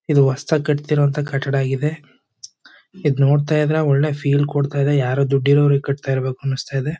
ಇದು ಹೊಸದಾಗಿ ಕಟ್ತಿರೋ ಅಂತ ಕಟಡ್ ಆಗಿದೆ . ಇದು ನೋಡ್ತಾ ಇದ್ರೆ ಒಳ್ಳೆ ಫೀಲ್ ಕೊಡ್ತಾಯಿದೆ ಯಾರೋ ದೊಡ್ಡಿರವರೇ ಕಟ್ತಾ ಇರ್ಬೆಕ್ ಅನಸ್ತಾಇದೆ.